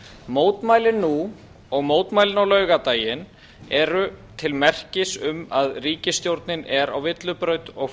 mótmælin nú og mótmælin á laugardaginn eru til merkis um að ríkisstjórnin er á villibraut og